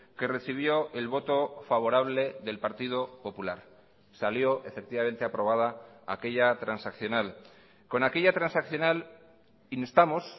que recibió el voto favorable del partido popular salió efectivamente aprobada aquella transaccional con aquella transaccional instamos